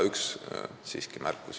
Üks märkus siiski veel.